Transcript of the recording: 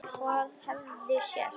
Hvað hefði sést?